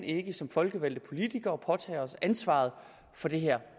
ikke som folkevalgte politikere kan påtage os ansvaret for det her